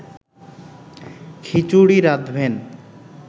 খিচুড়ি রাঁধবেন